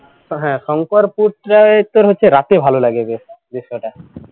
শংকরপুর প্রায় তোর হচ্ছে রাতে ভালো লাগে বেশ দৃশ্যটা